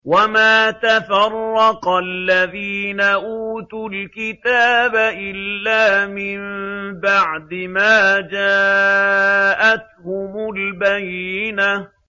وَمَا تَفَرَّقَ الَّذِينَ أُوتُوا الْكِتَابَ إِلَّا مِن بَعْدِ مَا جَاءَتْهُمُ الْبَيِّنَةُ